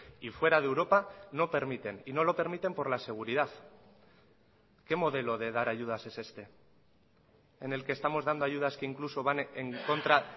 y fuera de europa no permiten y no lo permiten por la seguridad qué modelo de dar ayudas es este en el que estamos dando ayudas que incluso van en contra